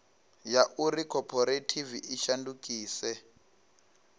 ya uri khophorethivi i shandukise